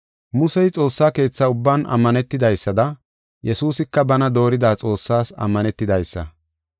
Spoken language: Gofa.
Musey Xoossaa Keetha ubban ammanetidaysada Yesuusika bana doorida Xoossaas ammanetidaysa.